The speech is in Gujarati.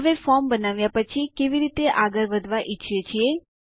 હવે ફોર્મ બનાવ્યા પછી કેવી રીતે આગળ વધવા ઈચ્છીએ છીએ